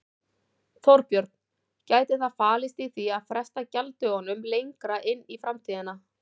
Þorbjörn: Gæti það falist í því að fresta gjalddögunum lengra inn í framtíðina?